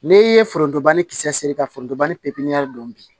N'i ye forontoba ni kisɛ seegin fɔ forontobani pipiniyɛri don bi